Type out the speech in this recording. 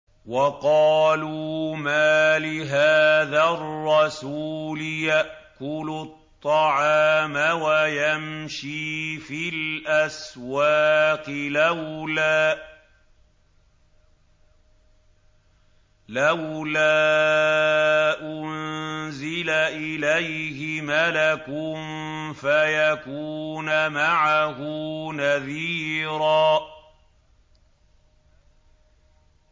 وَقَالُوا مَالِ هَٰذَا الرَّسُولِ يَأْكُلُ الطَّعَامَ وَيَمْشِي فِي الْأَسْوَاقِ ۙ لَوْلَا أُنزِلَ إِلَيْهِ مَلَكٌ فَيَكُونَ مَعَهُ نَذِيرًا